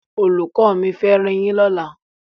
Olùkọ́ mi fẹ́ riyín lọ́la.